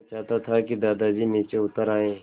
मैं चाहता था कि दादाजी नीचे उतर आएँ